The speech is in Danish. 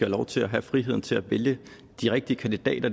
lov til at have frihed til at vælge de rigtige kandidater